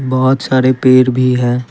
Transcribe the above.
बहोत सारे पेड़ भी हैं।